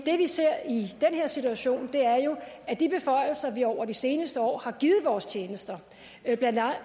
det vi ser i den her situation er jo at de beføjelser som vi over de seneste år har givet vores tjenester